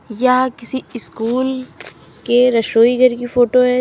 यह किसी स्कूल के रसोई घर की फोटो है।